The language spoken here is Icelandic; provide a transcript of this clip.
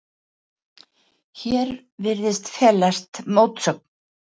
Hér virðist felast mótsögn.